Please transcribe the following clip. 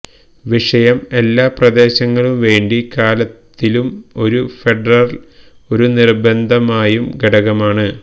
വിഷയം എല്ലാ പ്രദേശങ്ങളും വേണ്ടി കാലത്തിലും ഒരു ഫെഡറൽ ഒരു നിർബന്ധമായും ഘടകമാണ്